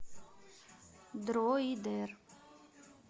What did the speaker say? дроидер